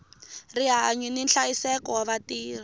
rihanyu ni nhlayiseko wa vatirhi